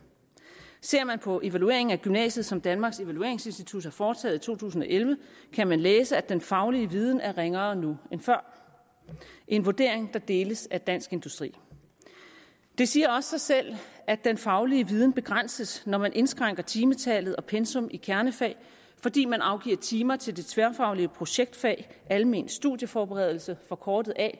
ser man på den evaluering af gymnasiet som danmarks evalueringsinstitut har foretaget i to tusind og elleve kan man læse at den faglige viden er ringere nu end før en vurdering der deles af dansk industri det siger også sig selv at den faglige viden begrænses når man indskrænker timetal og pensum i kernefag fordi man afgiver timer til det tværfaglige projektfag almen studieforberedelse forkortet at